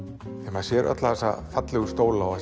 maður sé alla þessa fallegu stóla og